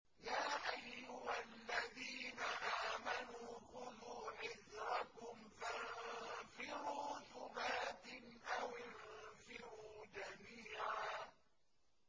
يَا أَيُّهَا الَّذِينَ آمَنُوا خُذُوا حِذْرَكُمْ فَانفِرُوا ثُبَاتٍ أَوِ انفِرُوا جَمِيعًا